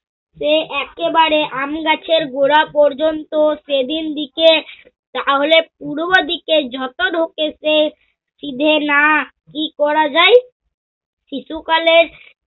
সে একেবারে আমগাছের গোঁড়া পর্যন্ত । তাহলে, পূর্বদিকে যত ঢোকে সে নিভেনা কি করা যায়? শিশুকালের